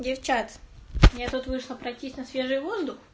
девчат я тут вышла пройтись на свежий воздух